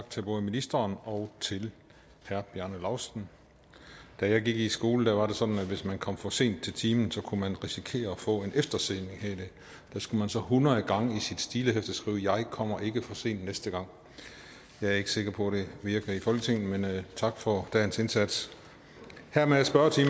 tak til både ministeren og til herre bjarne laustsen da jeg gik i skole var det sådan at hvis man kom for sent til timen kunne man risikere at få en eftersidning og der skulle man så hundrede gange i sit stilehæfte skrive jeg kommer ikke for sent næste gang jeg er ikke sikker på det virker i folketinget men tak for dagens indsats hermed er spørgetiden